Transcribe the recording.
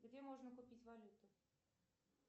где можно купить валюту